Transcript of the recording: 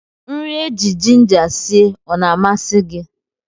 Nri éjị Jinja sie ọ na-amasi gị?